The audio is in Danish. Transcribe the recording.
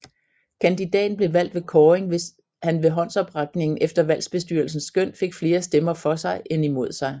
Kandidaten blev valgt ved kåring hvis han ved håndsoprækningen efter valgbestyrelsens skøn fik flere stemmer for sig end imod sig